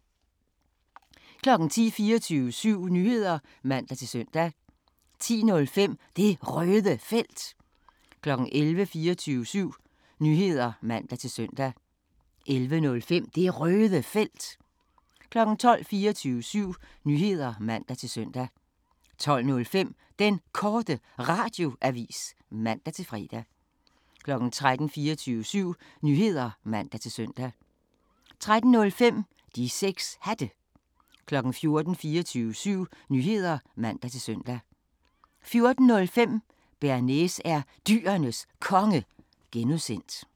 10:00: 24syv Nyheder (man-søn) 10:05: Det Røde Felt 11:00: 24syv Nyheder (man-søn) 11:05: Det Røde Felt 12:00: 24syv Nyheder (man-søn) 12:05: Den Korte Radioavis (man-fre) 13:00: 24syv Nyheder (man-søn) 13:05: De 6 Hatte 14:00: 24syv Nyheder (man-søn) 14:05: Bearnaise er Dyrenes Konge (G)